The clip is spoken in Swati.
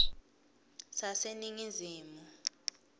saseningizimu